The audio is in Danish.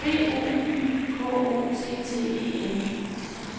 B O Y K O T T E N